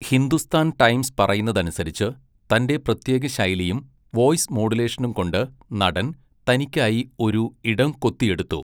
Hindustan Times പറയുന്നതനുസരിച്ച്, തന്റെ പ്രത്യേക ശൈലിയും വോയ്സ് മോഡുലേഷനും കൊണ്ട് നടൻ തനിക്കായി ഒരു ഇടം കൊത്തിയെടുത്തു.